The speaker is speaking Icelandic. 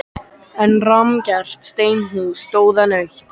En rammgert steinhús stóð enn autt.